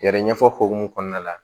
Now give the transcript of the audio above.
Yɛrɛ ɲɛfɔ hokumu kɔnɔna la